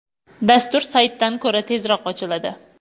Dastur saytdan ko‘ra tezroq ochiladi.